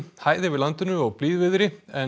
hæð yfir landinu og blíðviðri en